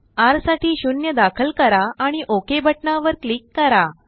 rसाठी0दाखल करा आणि Okबटनावर क्लिक करा